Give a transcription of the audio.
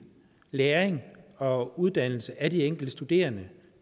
læring og uddannelse af de enkelte studerende